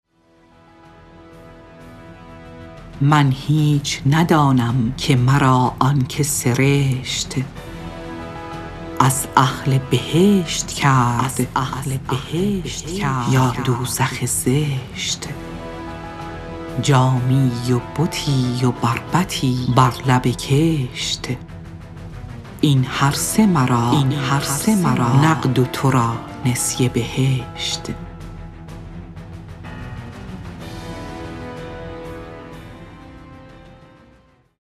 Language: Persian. من هیچ ندانم که مرا آن که سرشت از اهل بهشت کرد یا دوزخ زشت جامی و بتی و بربطی بر لب کشت این هرسه مرا نقد و تو را نسیه بهشت